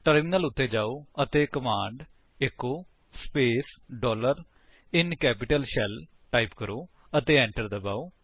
terminal ਉੱਤੇ ਜਾਓ ਅਤੇ command echo space dollar in capital shell type ਕਰੋ ਅਤੇ enter ਦਬਾਓ